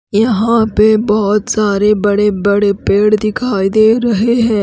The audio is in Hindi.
यहां पे बहोत सारे बड़े बड़े पेड़ दिखाई दे रहे हैं।